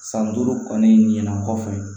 San duuru kɔni ɲɛna kɔfɛ